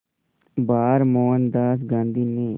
बार मोहनदास गांधी ने